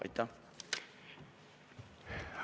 Aitäh!